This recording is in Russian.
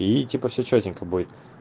и типа все чётенько будет